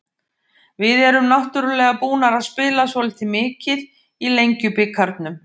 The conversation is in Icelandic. Við erum náttúrulega búnar að spila svolítið mikið í Lengjubikarnum.